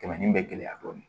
Tɛmɛnen bɛ gɛlɛya dɔɔnin